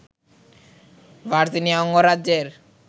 Virginia অঙ্গরাজ্যের